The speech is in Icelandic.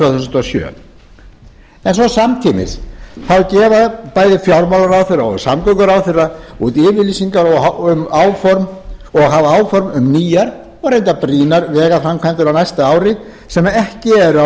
þúsund og sjö en svo samtímis þá gefa bæði fjármálaráðherra og samgönguráðherra út yfirlýsingar um og hafa áform um nýjar og reyndar brýnar vegaframkvæmdir á næsta ári sem ekki eru á